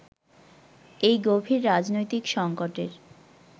এই গভীর রাজনৈতিক সংকটের